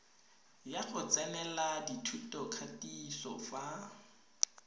ya go tsenela thutokatiso fa